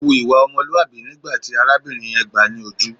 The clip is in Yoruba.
Ó hu ìwà ọmọlúàbí nígbà tí arábìnrin yẹn gbáà ni ojú.